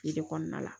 Tile kɔnɔna la